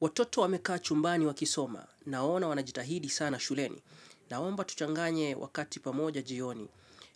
Watoto wame kaa chumbani wa kisoma. Naona wanajitahidi sana shuleni. Naomba tuchanganye wakati pamoja jioni.